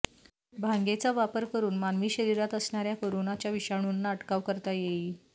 भांगेचा वापर करून मानवी शरीरात असणाऱ्या करोनाच्या विषाणूंना अटकाव करता येईल